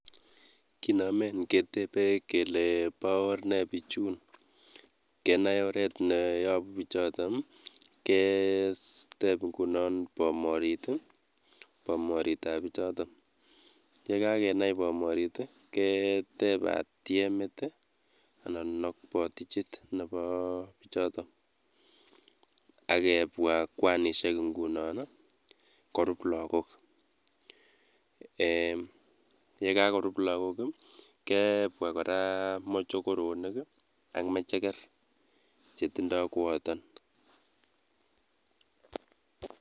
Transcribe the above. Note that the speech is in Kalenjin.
Kinomen ketebe kelee boo oor nee bichun, kenai oreet neyobu bichoton keteb ing'unon bomorit, bomoritab bichoton, yekakenai bomorit keteb batiemit anan botichit neboo bichoton akebwa kwanishek ng'unon korub lokok eeh yekakorub lakok kebwa kora mochokoronik ak mecheker chetindo koyoton.